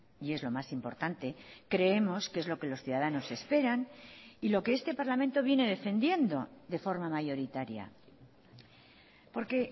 y es lo más importante creemos que es lo que los ciudadanos esperan y lo que este parlamento viene defendiendo de forma mayoritaria porque